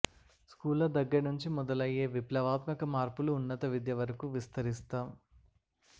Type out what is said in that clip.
స్కూళ్ల దగ్గర నుంచి మొదలయ్యే విప్లవాత్మక మార్పులు ఉన్నత విద్య వరకు విస్తరిస్తాం